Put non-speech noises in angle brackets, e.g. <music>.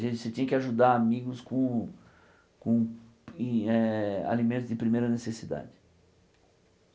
<unintelligible> Você tinha que ajudar amigos com com em eh alimentos de primeira necessidade.